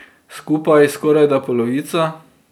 Skupaj skorajda polovica.